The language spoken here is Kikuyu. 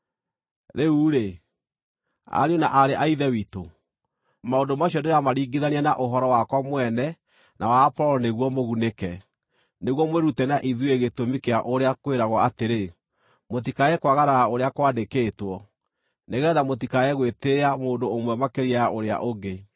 Rĩu-rĩ, ariũ na aarĩ a Ithe witũ, maũndũ macio ndĩramaringithania na ũhoro wakwa mwene na wa Apolo nĩguo mũgunĩke, nĩguo mwĩrute na ithuĩ gĩtũmi kĩa ũrĩa kwĩragwo atĩrĩ, “Mũtikae kwagarara ũrĩa kwandĩkĩtwo.” Nĩgeetha mũtikae gwĩtĩĩa mũndũ ũmwe makĩria ya ũrĩa ũngĩ.